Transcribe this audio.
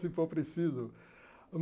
Se for preciso.